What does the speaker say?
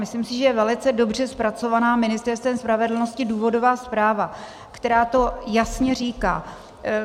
Myslím si, že je velice dobře zpracovaná Ministerstvem spravedlnosti důvodová zpráva, která to jasně říká.